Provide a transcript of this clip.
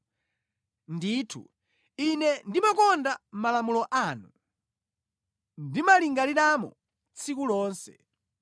Ndithu, ine ndimakonda malamulo anu! Ndimalingaliramo tsiku lonse.